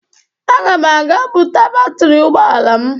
Aga m aga buta batịrị ụgbọala m